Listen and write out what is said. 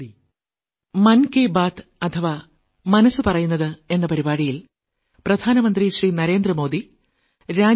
വളരെ നന്ദി